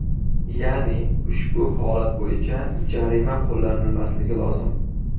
Ya’ni ushbu holat bo‘yicha jarima qo‘llanilmasligi lozim.